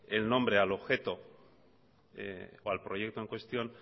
el nombre al objeto o al proyecto en cuestión